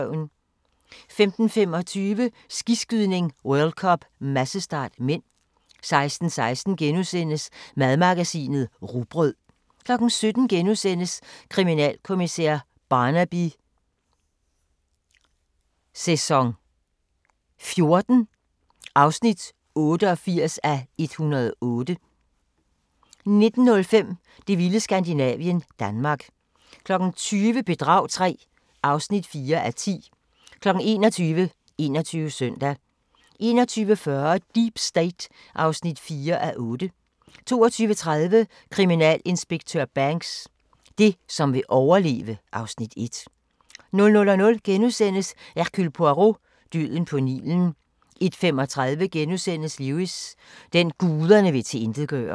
15:25: Skiskydning: World Cup - massestart (m) 16:16: Madmagasinet: Rugbrød * 17:00: Kriminalkommissær Barnaby XIV (88:108)* 19:05: Det vilde Skandinavien - Danmark 20:00: Bedrag III (4:10) 21:00: 21 Søndag 21:40: Deep State (4:8) 22:30: Kriminalinspektør Banks: Det, som vil overleve (Afs. 1) 00:00: Hercule Poirot: Døden på Nilen * 01:35: Lewis: Den, guderne vil tilintetgøre *